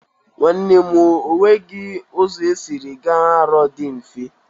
Nwanne m o, o nweghi ụzọ esiri ga Arọ dị mfe.